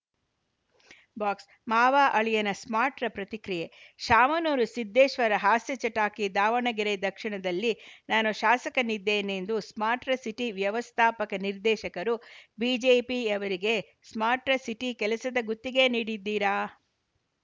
box ಮಾವಅಳಿಯನ smart ಪ್ರತಿಕ್ರಿಯೆ ಶಾಮನೂರುಸಿದ್ದೇಶ್ವರ ಹಾಸ್ಯ ಚಟಾಕಿ ದಾವಣಗೆರೆ ದಕ್ಷಿಣದಲ್ಲಿ ನಾನು ಶಾಸಕನಿದ್ದೇನೆಂದು ಸ್ಮಾರ್ಟರ್ ಸಿಟಿ ವ್ಯವಸ್ಥಾಪಕ ನಿರ್ದೇಶಕರು ಬಿಜೆಪಿಯವರಿಗೆ ಸ್ಮಾರ್ಟರ್ ಸಿಟಿ ಕೆಲಸದ ಗುತ್ತಿಗೆ ನೀಡಿದ್ದೀರಾ